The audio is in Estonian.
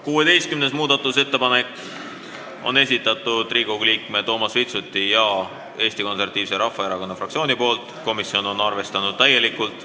16. muudatusettepaneku on esitanud Riigikogu liige Toomas Vitsut ja Eesti Konservatiivse Rahvaerakonna fraktsioon, komisjon on arvestanud täielikult.